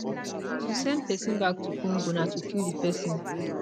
to send pesin back to congo na to kill di pesin